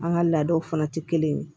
An ka laadaw fana tɛ kelen ye